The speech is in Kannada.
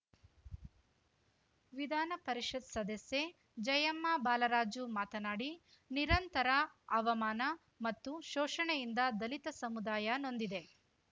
ವಿಧಾನ ಪರಿಷತ್‌ ಸದಸ್ಯೆ ಜಯಮ್ಮ ಬಾಲರಾಜು ಮಾತನಾಡಿ ನಿರಂತರ ಅವಮಾನ ಮತ್ತು ಶೋಷಣೆಯಿಂದ ದಲಿತ ಸಮುದಾಯ ನೊಂದಿದೆ